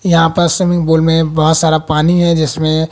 यहां पर swimming pool में बहुत सारा पानी है जिसमें--